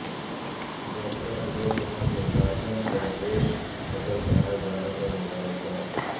doctor Ajay Kumar کو Jharkhand Pradesh صدر بنائے جانے پر مبارکباد